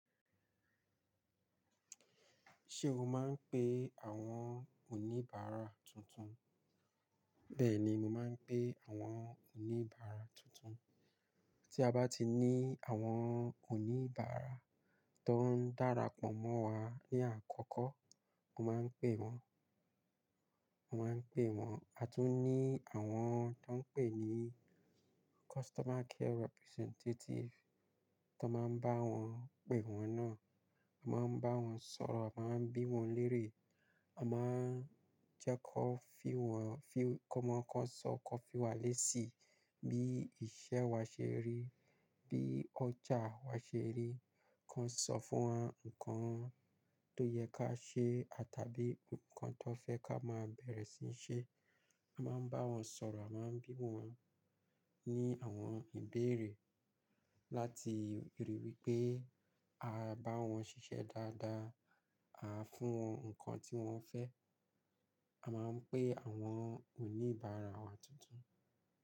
Ṣé o máa ń pe àwọn oníbàárà tuntun? Bẹ́ẹ̀ni, mo máa ń pe àwọn oníbàárà tuntun. Tí a bá ti ní àwọn oníbàárà tó ń dara pọ̀ mọ́ wa ní àkọ́kọ́, mo máa ń pe wọn, mo máa ń pe wọn. A tún ní àwọn tó ń pè ní customer care representative tó máa ń bá wọn pè wọ́n náà. A máa ń bá wọn sọ̀rọ̀, a máa ń bí wọn lérè, a máa ń jẹ́ kó fi wọn fi kó máa kó sọ kó fi wá lé síi bí iṣẹ́ wa ṣe rí, bí ọjà wa ṣe rí. Kó sọ fún wọn nǹkan tó yẹ ká ṣe àtàbí nǹkan tó fẹ́ ká máa bẹ̀rẹ̀ síí ṣe. A máa ń bá wọn sọ̀rọ̀, a máa ń bí wọn ní àwọn ìbéèrè láti rí wípé a bá wọn ṣiṣẹ́ dáadáa, a fún wọn nǹkan tí wón fẹ́. A máa ń pe àwọn oníbàárà wa tuntun.